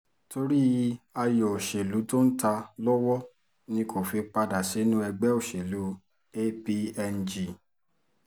torí ayọ̀ òṣèlú tó ń ta lọ́wọ́ ni kò fi padà sínú ẹgbẹ́ òṣèlú apng